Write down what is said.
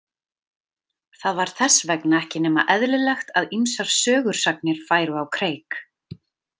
Það var þess vegna ekki nema eðlilegt að ýmsar sögusagnir færu á kreik.